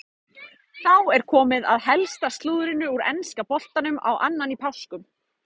Þá er komið að helsta slúðrinu úr enska boltanum á annan í páskum.